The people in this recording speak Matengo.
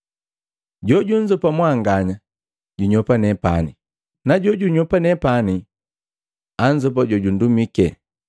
“Jojunzopa mwanganya, junyopa nepani, na jojunyopa nepani anzopa jojundumike.